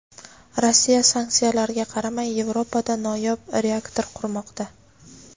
Rossiya sanksiyalarga qaramay Yevropada noyob reaktor qurmoqda.